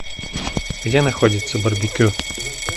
где находится барбекю